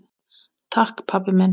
Takk pabbi minn.